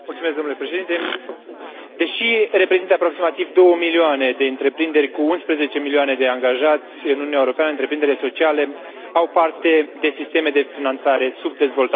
Deși reprezintă aproximativ două milioane de întreprinderi, cu 11 milioane de angajați, în Uniunea Europeană întreprinderile sociale au parte de sisteme de finanțare subdezvoltate.